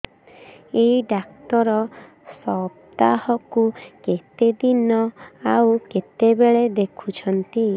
ଏଇ ଡ଼ାକ୍ତର ସପ୍ତାହକୁ କେତେଦିନ ଆଉ କେତେବେଳେ ଦେଖୁଛନ୍ତି